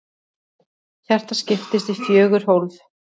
Hjartað skiptist í fjögur hólf.